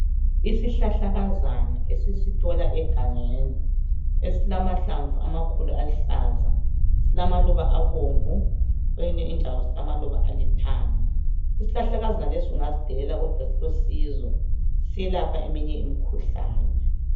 Isihlahlakazana esisithola egangeni esilamahlamvu amakhulu aluhlaza silamaluba abomvu kweyinye indawo silamaluba alithanga isihlahlakazana lesi ungasidelela kodwa silosizo siyelapha eminye imikhuhlane